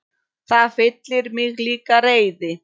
Það fyllir mig líka reiði.